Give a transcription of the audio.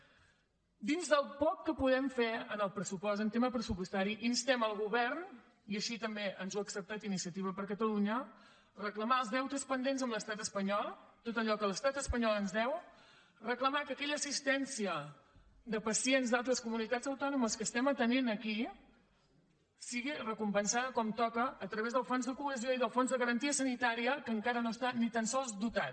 dins del poc que podem fer en el pressupost en tema pressupostari instem el govern i així també ens ho ha acceptat iniciativa per catalunya a reclamar els deutes pendents amb l’estat espanyol tot allò que l’estat espanyol ens deu reclamar que aquella assistència de pacients d’altres comunitats autònomes que estem atenent aquí sigui recompensada com toca a través del fons de cohesió i del fons de garantia sanitària que encara no està ni tan sols dotat